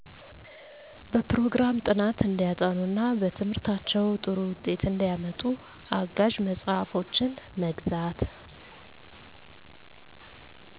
በፕሮግራም ጥናት እንዲያጠኑ እና በትምህርታቸው ጥሩ ውጤት እንዲያመጡ አጋዠ መፅሐፎችን መግዛት